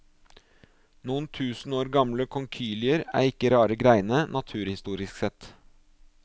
Noen tusen år gamle konkylier er ikke rare greiene, naturhistorisk sett.